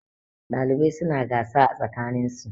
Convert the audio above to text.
ɗalibai suna gasa a tsakaninsu